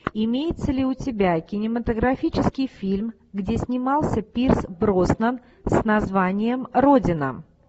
имеется ли у тебя кинематографический фильм где снимался пирс броснан с названием родина